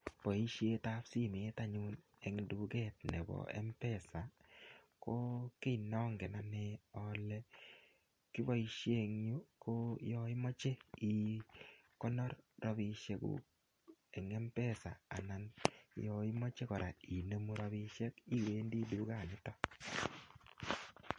Boisietab simet anyun eng duket nebo mpesa kokiy nongen anne ale kibosoie eng yu ko yoimoche ikonor rapisiekuk en mpesa anan yoimoche kora inemu rapisiek iwendi dukanito.